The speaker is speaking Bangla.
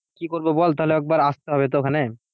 কি করবি বল তাহলে একবার আসতে হবে তো ওখানে?